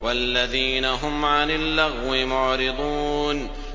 وَالَّذِينَ هُمْ عَنِ اللَّغْوِ مُعْرِضُونَ